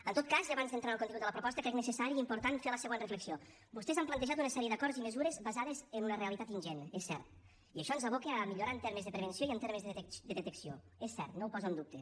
en tot cas i abans d’entrar en el contingut de la proposta crec necessari i important fer la següent reflexió vostès han plantejat una sèrie d’acords i mesures basades en una realitat ingent és cert i això ens aboca a millorar en termes de prevenció i en termes de detecció és cert no ho poso en dubte